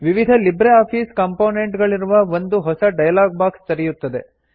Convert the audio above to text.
ವಿವಿಧ Libre office component ಗಳಿರುವ ಒಂದು ಹೊಸ ಡೈಲಾಗ್ ಬಾಕ್ಸ್ ತೆರೆಯುತ್ತದೆ